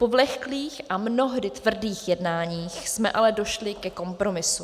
Po vleklých a mnohdy tvrdých jednáních jsme ale došli ke kompromisu.